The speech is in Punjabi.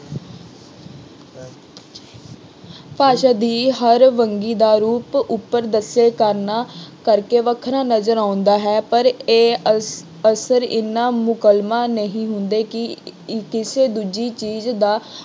ਭਾਸ਼ਾ ਦੀ ਹਰ ਵੰਨਗੀ ਦਾ ਰੂਪ ਉੱਪਰ ਦੱਸੇ ਕਾਰਨਾਂ ਕਰਕੇ ਵੱਖਰਾ ਨਜ਼ਰ ਆਉਂਦਾ ਹੈ। ਪਰ ਇਹ ਅਸ ਅਸਰ ਐਨਾ ਮੁਕੰਮਲ ਨਹੀਂ ਹੁੰਦੇ ਕਿ ਕਿਸੇ ਦੂਜੀ ਚੀਜ਼ ਦਾ